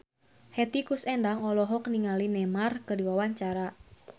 Hetty Koes Endang olohok ningali Neymar keur diwawancara